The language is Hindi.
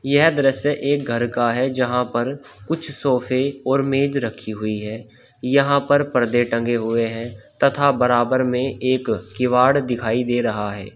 यह दृश्य एक घर का है जहां पर कुछ सोफे और मेज रखी हुई है यहां पर पर्दे टंगे हुए हैं तथा बराबर में एक किवाड़ दिखाई दे रहा है।